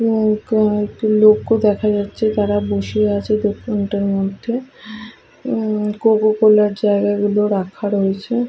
কয়টি লোকও দেখা যাচ্ছে তারা বসে আছে দোকানটার মধ্যে হম কোকোকোলা -র জায়গাগুলো রাখা রয়েছে।